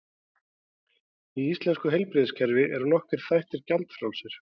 Í íslenska heilbrigðiskerfinu eru nokkrir þættir gjaldfrjálsir.